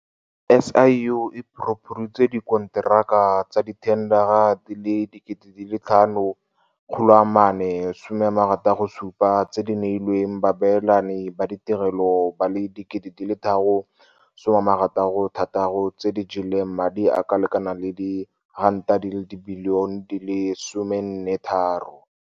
SIU e phuruphuditse dikonteraka tsa dithendara di le 5 467 tse di neilweng baabelani ba ditirelo ba le 3 066 tse di jeleng madi a le kanaka R14.3 bilione.